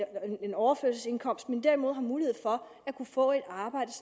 overførselsindkomst men derimod har mulighed for at kunne få et arbejde